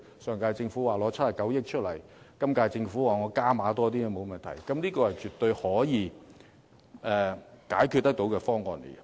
上屆政府表示會撥出97億元，今屆政府則表示加多點也沒有問題，絕對是可以解決問題的方案。